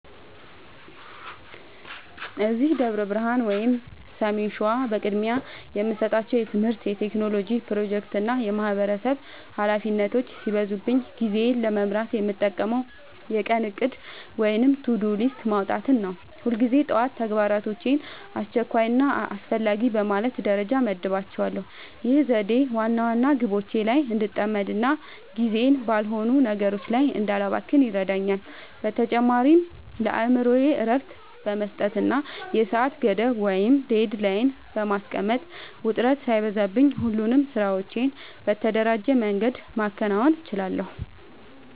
እዚህ ደብረ ብርሃን (ሰሜን ሸዋ) በቅድሚያ የምሰጣቸው የትምህርት፣ የቴክኖሎጂ ፕሮጀክቶችና የማህበረሰብ ኃላፊነቶች ሲበዙብኝ ጊዜዬን ለመምራት የምጠቀመው የቀን እቅድ (To-Do List) ማውጣትን ነው። ሁልጊዜ ጠዋት ተግባራቶቼን አስቸኳይና አስፈላጊ በማለት ደረጃ እመድባቸዋለሁ። ይህ ዘዴ ዋና ዋና ግቦቼ ላይ እንድጠመድና ጊዜዬን ባልሆኑ ነገሮች ላይ እንዳላባክን ይረዳኛል። በተጨማሪም ለአእምሮዬ እረፍት በመስጠትና የሰዓት ገደብ (Deadline) በማስቀመጥ፣ ውጥረት ሳይበዛብኝ ሁሉንም ስራዎቼን በተደራጀ መንገድ ማከናወን እችላለሁ።